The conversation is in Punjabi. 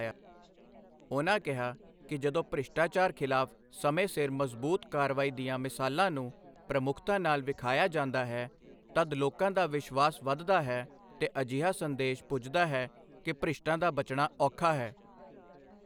ਉਨ੍ਹਾਂ ਕਿਹਾ ਕਿ ਜਦੋਂ ਭ੍ਰਿਸ਼ਟਾਚਾਰ ਖ਼ਿਲਾਫ਼ ਸਮੇਂ ਸਿਰ ਮਜ਼ਬੂਤ ਕਾਰਵਾਈ ਦੀਆਂ ਮਿਸਾਲਾਂ ਨੂੰ ਪ੍ਰਮੁੱਖਤਾ ਨਾਲ ਵਿਖਾਇਆ ਜਾਂਦਾ ਹੈ, ਤਦ ਲੋਕਾਂ ਦਾ ਵਿਸ਼ਵਾਸ ਵਧਦਾ ਹੈ ਤੇ ਅਜਿਹਾ ਸੰਦੇਸ਼ ਪੁੱਜਦਾ ਹੈ ਕਿ ਭ੍ਰਿਸ਼ਟਾਂ ਦਾ ਬਚਣਾ ਔਖਾ ਹੈ।